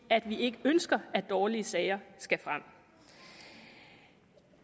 at vi ikke ønsker at dårlige sager skal frem